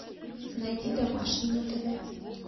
найди домашний на тв